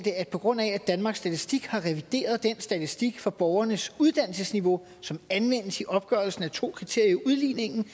på grund af at danmarks statistik har revideret den statistik for borgernes uddannelsesniveau som anvendes i opgørelsen af to kriterier i udligningen